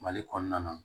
Mali kɔnɔna na